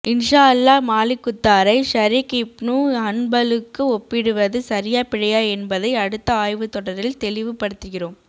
இன்ஷா அல்லாஹ் மாலிகுத்தாரை ஷரீக் இப்னு ஹன்பலுக்கு ஒப்பிடுவது சரியா பிழையா என்பதை அடுத்த ஆய்வுத் தொடரில் தெளிவுபடுத்துகிறோம்